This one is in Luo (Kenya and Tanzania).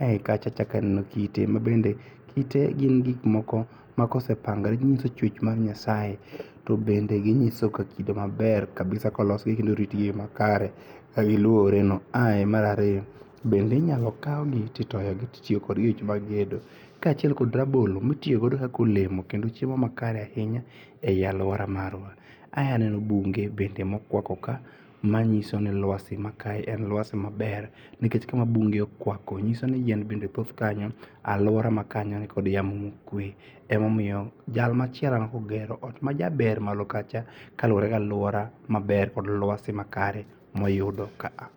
Ae kacha achako aneno kite mabende, kite gin gik moko makosepangre ginyiso chuech mar Nyasaye. To bende ginyisoga kido maber kabisa kolosgi gi luedo makare kagiluoreno. Ae marariyo bende inyalo kaugi titoyogi kitiyogo e weche mag gedo kachiel kod rabolo mitiyogodo kakolemo kendo chiemo makare ainya e aluora marwa. Ae aneno bunge bende mokwako ka, manyisoni lwasi ma kae en lwasi maber nikech kama bunge okwako nyisoni yien bende kanyo. Aluora makanyo kod yamo mokue. Emomiyo jal machielo mopogre majaber malo kacha kaluore galuora maber kod luasi makare eyudo kaa.